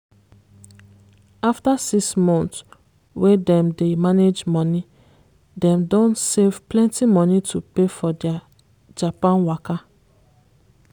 after six month wey dem dey manage money dem don save plenty money to pay for dia japan waka.